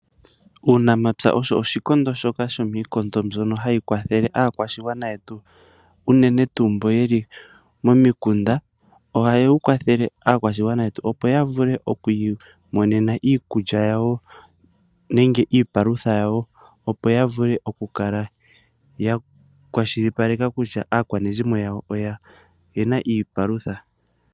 Uunamapya oshowo iikondo mbyoka hayi kwathele aakwashigwana yetu unene tuu mbo yeli momikunda, ohaya kwathele aakwashigwana mboka yeli momikunda. Nelalakano opo ya kwashilipaleke kutya oya mona iipalutha yakathele aanegumbo yawo.